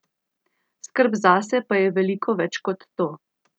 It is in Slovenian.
Skrb zase pa je veliko več kot to.